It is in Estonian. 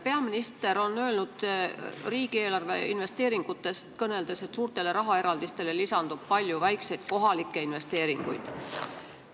Peaminister on öelnud riigieelarve investeeringutest kõneldes, et suurtele rahaeraldistele lisandub palju väikseid kohalikke investeeringuid.